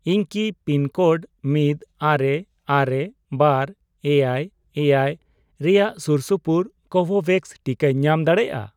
ᱤᱧ ᱠᱤ ᱯᱤᱱᱠᱳᱰ ᱢᱤᱫ, ᱟᱨᱮ, ᱟᱨᱮ, ᱵᱟᱨ, ᱮᱭᱟᱭ, ᱮᱭᱟᱭ ᱨᱮᱭᱟᱜ ᱥᱩᱨ ᱥᱩᱯᱩᱨ ᱠᱳᱵᱷᱳᱵᱷᱮᱠᱥ ᱴᱤᱠᱟᱧ ᱧᱟᱢ ᱫᱟᱲᱮᱭᱟᱜᱼᱟ ?